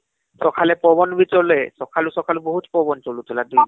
ସଖାଳେ ପବନ ବି ଚାଲେ ସଖାଳୁ ସଖାଳୁ ବହୁତ ପବନ ଚାଲୁଥିଲା ଦୁଇ ଦିନ